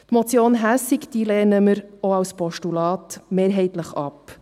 Die Motion Hässig lehnen wir auch als Postulat mehrheitlich ab.